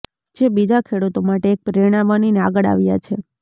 જે બીજા ખેડૂતો માટે એક પ્રેરણા બનીને આગળ આવ્યા છે